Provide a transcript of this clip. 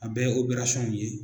A bɛɛ ye.